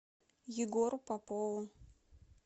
егору попову